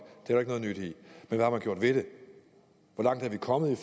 det er har man gjort ved det hvor langt er vi kommet i